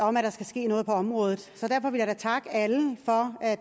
om at der skal ske noget på området derfor vil jeg da takke alle for at